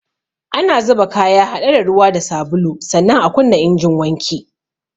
Ana zuba kaya haɗe da ruwa da sabulu, sannan a kunna injin wanki